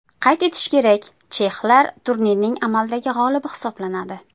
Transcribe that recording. Qayd etish kerak, chexlar turnirning amaldagi g‘olibi hisoblanadi.